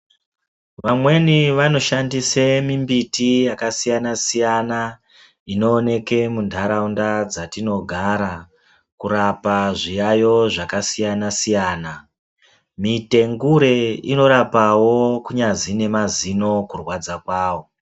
Vamweni vanoshandisa mumbiti yakasiyana siyana inooneka mundaraunda dzatinogara kurapa zviyayo zvakasiya siyana mutengure inorapawo kunyazi nemazino kurwadza kwawo.